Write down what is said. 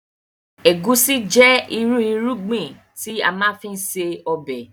Egusi jẹ ìrú irúgbìn tí a má ń fi ṣe ọbẹ̀